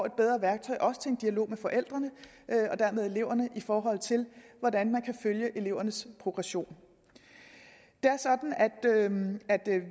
et bedre værktøj også til en dialog med forældrene og dermed eleverne i forhold til hvordan man kan følge elevernes progression det er sådan at